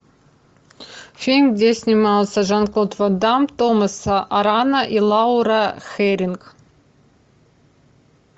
фильм где снимался жан клод ван дамм томас арана и лаура хэрринг